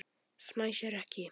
Fnæsir ekki.